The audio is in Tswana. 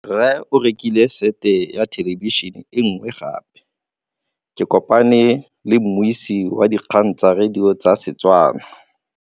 Rre o rekile sete ya thêlêbišênê e nngwe gape. Ke kopane mmuisi w dikgang tsa radio tsa Setswana.